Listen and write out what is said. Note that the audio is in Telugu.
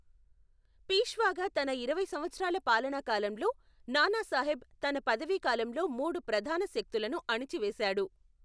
పీష్వాగా తన ఇరవై సంవత్సరాల పాలనా కాలంలో, నానాసాహెబ్ తన పదవీకాలంలో మూడు ప్రధాన శక్తులను అణచివేసాడు.